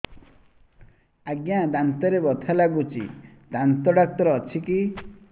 ଆଜ୍ଞା ଦାନ୍ତରେ ବଥା ଲାଗୁଚି ଦାନ୍ତ ଡାକ୍ତର ଅଛି କି